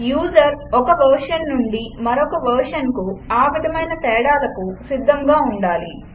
user ఒక రూపం నుండి మరొక రూపానికి ఆవిధమైన తేడాలకు సిద్ధంగా ఉండాలి